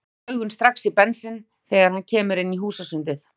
Rekur augun strax í Bensinn þegar hann kemur inn í húsasundið.